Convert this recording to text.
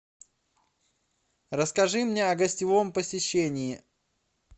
расскажи мне о гостевом посещении